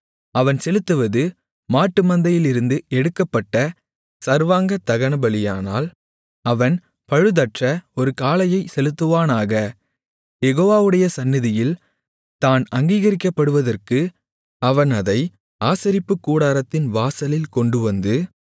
அவன் செலுத்துவது மாட்டுமந்தையிலிருந்து எடுக்கப்பட்ட சர்வாங்க தகனபலியானால் அவன் பழுதற்ற ஒரு காளையைச் செலுத்துவானாக யெகோவாவுடைய சந்நிதியில் தான் அங்கீகரிக்கப்படுவதற்கு அவன் அதை ஆசரிப்புக்கூடாரத்தின் வாசலில் கொண்டுவந்து